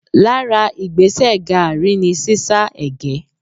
Lára Igbẹ́sẹ̀ gààrí ni sísá ègé.